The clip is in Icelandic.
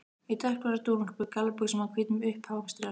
Í dökkblárri dúnúlpu, gallabuxum og hvítum, uppháum strigaskóm.